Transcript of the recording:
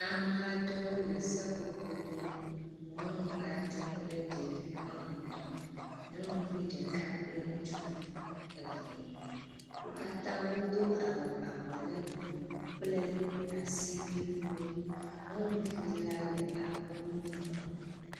Ame aɖewo le seƒoƒo dom. Nyɔnu aɖe kple ɖevi woame etɔ̃. Nyɔnuvi ɖeka kple ŋutsuvi eve. Wo katã wodo awu abɔ legbee kple asiwuiwo. Nyɔnuvi la le alɔgbɔnui kom.